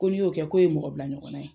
Ko n'i y'o kɛ k'o ye mɔgɔ bila ɲɔgɔnna ye.